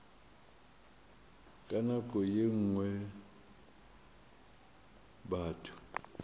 ka nako ye nngwe batho